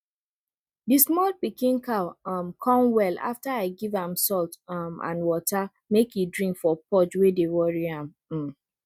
the small pikin cow um come well after i give am salt um and water make e drink for purge wey dey worry am um